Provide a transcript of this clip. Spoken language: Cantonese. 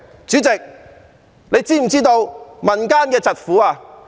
主席，你是否知道民間疾苦？